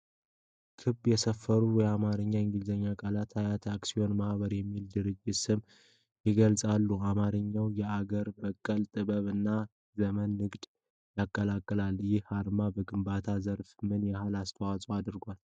ክብ የሰፈሩ የአማርኛና የእንግሊዝኛ ቃላት "አያት አክሲዮን ማህበር" የሚል የድርጅቱን ስም ይገልጻሉ። አርማው የአገር በቀል ጥበብ እና ዘመናዊ ንግድን ያቀላቅላል፤ ይህ ማህበር በግንባታ ዘርፍ ምን ያህል አስተዋጽኦ አድርጓል?